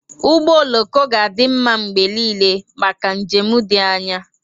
Ụgbọ oloko ga-adị mma mgbe niile maka njem dị anya.